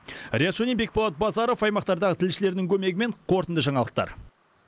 риат шони бекболат базаров аймақтардағы тілшілердің көмегімен қорытынды жаңалықтар